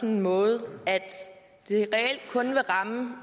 en måde at det reelt kun vil ramme